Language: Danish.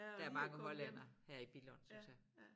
Der er mange hollændere her i Billund synes jeg